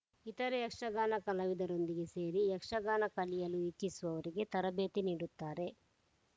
ಇತರೆ ಯಕ್ಷಗಾನ ಕಲಾವಿದರೊಂದಿಗೆ ಸೇರಿ ಯಕ್ಷಗಾನ ಕಲಿಯಲು ಇಚ್ಛಿಸುವವರಿಗೆ ತರಬೇತಿ ನೀಡುತ್ತಾರೆ